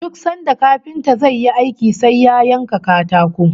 Duk sanda kafinta zai yi aiki sai ya yanka katako